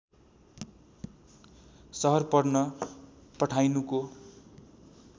सहर पढ्न पठाइनुको